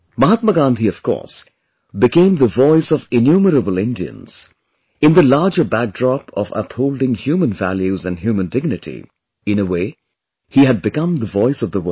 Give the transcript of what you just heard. Mahatma Gandhi, of course, became the voice of innumerable Indians, in the larger backdrop of upholding human values & human dignity; in a way, he had become the voice of the world